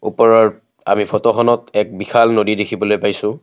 ওপৰৰ আমি ফটোখনত এক বিশাল ফটো দেখিবলৈ পাইছোঁ।